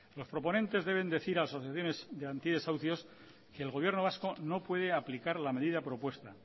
los proponentes deben decir a asociaciones de antidesahucios que el gobierno vasco no puede aplicar la medida propuesta